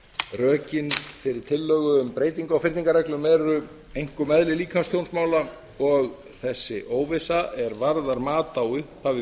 rökin fyrir tillögu um breytingu á fyrningarreglum eru einkum eðli líkamstjónsmála og þessi óvissa er varðar mat á upphafi